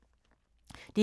DR2